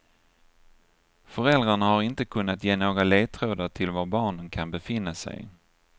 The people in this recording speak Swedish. Föräldrarna har inte kunnat ge några ledtrådar till var barnen kan befinna sig.